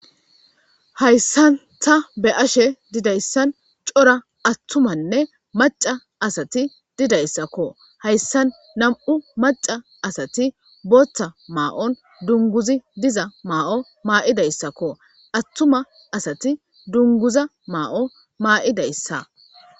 hayssan ta be ashe didayssan cora attumanne maca asati didayssakko hayssan nam7u maca asati booththa maa7on dunguzi diza maa7o maa7idayssakko attuma asati dunguza maa7o maa7idayssa